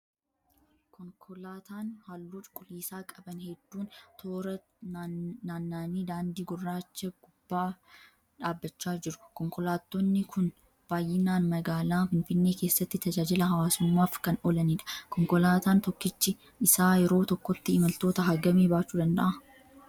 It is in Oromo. Konkolaataan halluu cuquliisaa qaban hedduun toora nammanii daandii gurraacha gubbaa dhaabbachaa jiru. Konkolaattonni kun baayyinaan magaalaa Finfinnee keessatti tajaajila hawaasummaaf kan oolaniidha. Konkolaataan tokkichi isaa yeroo tokkotti imaltoota hangamii baachuu danda'aa?